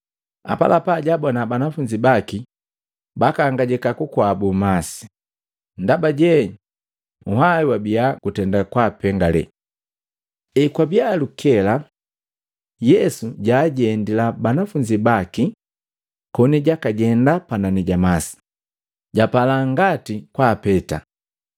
Apalapa, jaabona banafunzi baki bakaangijika kukwabu masi, ndaba je nhwai wabia gutenda kwapengale. Ekwabia lukela, Yesu jaajendila banafunzi baki koni jakajenda panani ja masi, japala ngati kwaapeta.